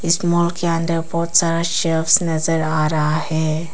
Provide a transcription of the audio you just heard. इस मॉल के अंदर बहोत सारा सेल्स नजर आ रहा है।